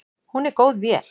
Hún er góð vél.